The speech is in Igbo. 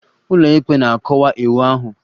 Ụlọikpe na-akọwa iwu ahụ.